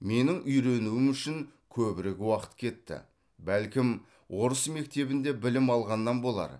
менің үйренуім үшін көбірек уақыт кетті бәлкім орыс мектебінде білім алғаннан болар